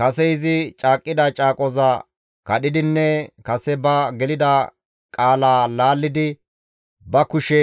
Kase izi caaqqida caaqoza kadhidinne kase ba gelida qaala laallidi ba kushe